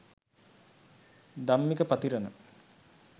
dammika pathirathna